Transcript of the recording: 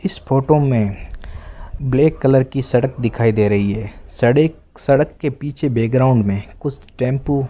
इस फोटो में black colour की सड़क दिखाई दे रही है सड़क सड़क के पीछे बैक ग्राउंड में कुछ टेम्पू --